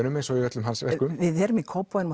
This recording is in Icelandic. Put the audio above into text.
eins og í öllum hans verkum við erum í Kópavogi